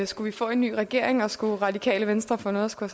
skulle vi få en ny regering og skulle radikale venstre få noget at skulle